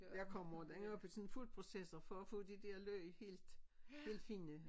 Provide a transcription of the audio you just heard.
Jeg kommer det op i sådan en foodprocessor for at få de der løg helt helt fine